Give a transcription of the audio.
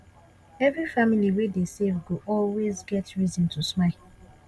every family wey dey save go always get reason to smile